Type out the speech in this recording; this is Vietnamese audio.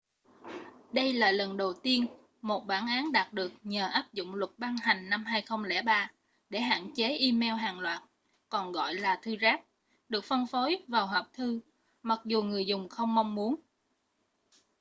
đây là lần đầu tiên một bản án đạt được nhờ áp dụng luật ban hành năm 2003 để hạn chế e-mail hàng loạt còn gọi là thư rác được phân phối vào hộp thư mặc dù người dùng không mong muốn